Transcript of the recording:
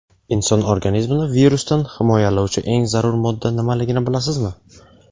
Inson organizmini virusdan himoyalovchi eng zarur modda nimaligini bilasizmi?.